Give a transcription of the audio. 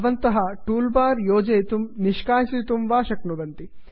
भवन्तः toolbar योजयितुं निष्कासयितुं वा शक्नुवन्ति